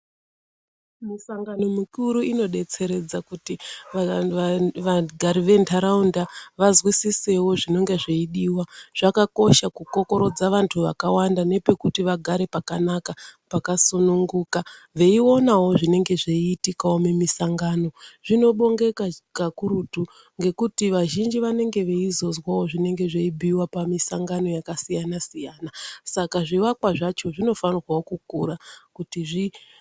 Misangano mikuru inodetseredza kuti vagari ventharaunda vazwisisewo zvinenge zveidiwa zvakakosha kukokorodza vanthu vakawanda nepekuti vagare pakanaka pakasununguka veiona zvinenge zveiitikawo mumisangano. Zvinobongeka kakurutu ngekuti vazhinji vanenge veizozwawo zvinenge zveibhuiwa pamisangano yakasiyana siyana saka zvivakwa zvacho zvinofanirwa kukura kuti zvi...